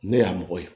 Ne y'a mɔgɔ ye